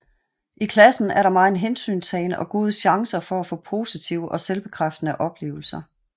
I klassen er der megen hensyntagen og gode chancer for at få positive og selvbekræftende oplevelser